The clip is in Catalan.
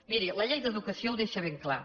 miri la llei d’educació ho deixa ben clar